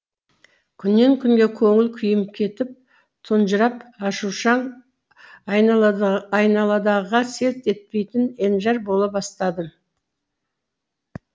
күннен күнге көңіл күйім кетіп тұнжырап ашушаң айналадағыға селт етпейтін енжар бола бастадым